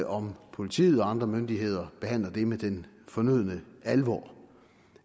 om politiet og andre myndigheder behandler det med den fornødne alvor